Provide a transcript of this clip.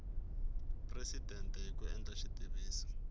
presidente hi ku endla xitiviso